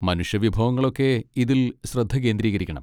മനുഷ്യ വിഭവങ്ങളൊക്കെ ഇതിൽ ശ്രദ്ധ കേന്ദ്രീകരിക്കണം.